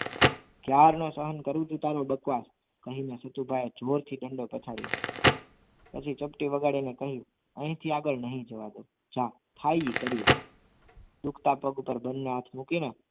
ક્યારનું સહન કરું છું તારો બક્વાસ અહીં તો નથુભાઈ જોરથી દંડો પછાડ્યો પછી ચપટી વગાડીને કહ્યું અહીંથી આગળ નહીં જવા દઉં જાવ થાય એ કરી લો દુખતા હાથ ઉપર બંને હાથ મૂકીને